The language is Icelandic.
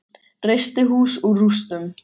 Reisti hús úr rústum.